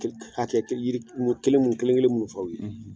Hakɛ yiri kelen mun kelen-kelen minnu fɔ aw ye